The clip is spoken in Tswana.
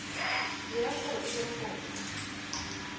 dirang gore o dire kopo